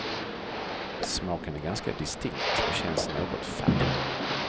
Smaken är ganska distinkt och känns något fadd.